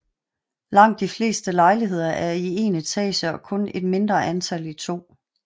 Langt de fleste lejligheder er i én etage og kun et mindre antal i to